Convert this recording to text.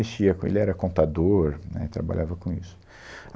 ele era contador, né, e trabalhava com isso.